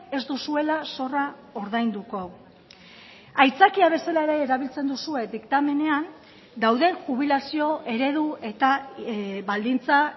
ez duzuela zorra ordainduko aitzakia bezala ere erabiltzen duzue diktamenean dauden jubilazio eredu eta baldintza